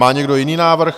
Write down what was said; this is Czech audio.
Má někdo jiný návrh?